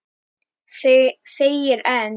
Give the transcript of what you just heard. Þegir enn.